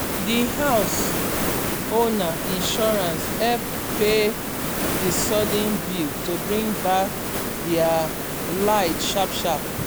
d house owner insurance help pay the sudden bill to bring back their light sharp sharp. um